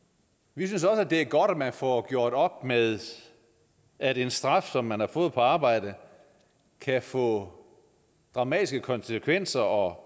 vi synes også det er godt at man får gjort op med at en straf som man har fået på arbejdet kan få dramatiske konsekvenser og